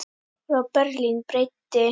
Frá Berlín breiddi